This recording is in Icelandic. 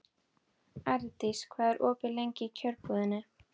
Ardís, hvað er opið lengi í Kjörbúðinni?